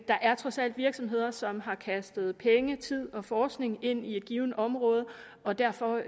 er trods alt virksomheder som har kastet penge tid og forskning ind i et givent område og derfor